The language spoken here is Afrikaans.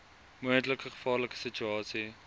moontlike gevaarlike situasie